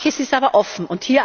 Manches ist aber offen.